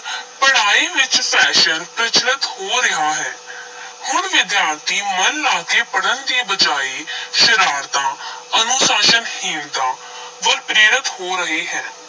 ਪੜ੍ਹਾਈ ਵਿਚ fashion ਪ੍ਰਚਲਤ ਹੋ ਰਿਹਾ ਹੈ ਹੁਣ ਵਿਦਿਆਰਥੀ ਮਨ ਲਾ ਕੇ ਪੜ੍ਹਨ ਦੀ ਬਜਾਏ ਸ਼ਰਾਰਤਾਂ ਅਨੁਸ਼ਾਸਨਹੀਣਤਾ ਵੱਲ ਪ੍ਰੇਰਤ ਹੋ ਰਹੇ ਹੈ।